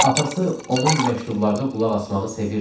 Atası onun məktublarına qulaq asmağı sevirdi.